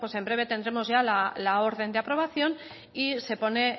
en breve tendremos ya la orden de aprobación y se pone